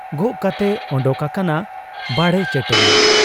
ᱜᱚᱜ ᱠᱟᱛᱮᱭ ᱚᱰᱚᱠ ᱟᱠᱟᱱᱟ ᱵᱟᱲᱮ ᱪᱟᱹᱴᱟᱹᱱᱤ ᱾